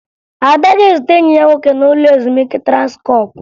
Ada ga-ezute enyi ya nwoke n'ụlọ ezumike Transkọọpụ